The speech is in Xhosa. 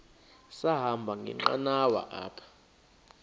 sahamba ngenqanawa apha